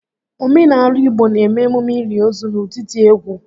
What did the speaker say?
Omenaala Igbo n'eme emume ili ozu n'ụdị dị egwu